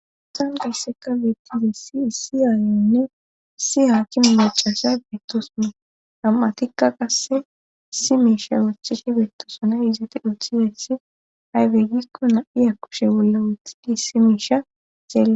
san geysseka bettize siisiyaayonne si haaki me macasha beettosona am7a tikka qasse si miisha wucthihi beettosonay izati uthiheethi aywey gikko na7iya kushe bolla wothidi si miisha xelle